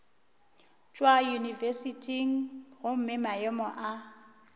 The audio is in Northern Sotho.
tšwa yunibesithing gomme maemo a